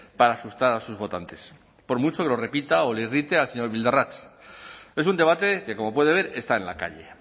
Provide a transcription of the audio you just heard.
para asustar a sus votantes por mucho que lo repita o le irrite al señor bildarratz es un debate que como puede ver está en la calle